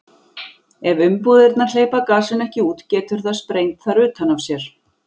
Ef umbúðirnar hleypa gasinu ekki út getur það sprengt þær utan af sér.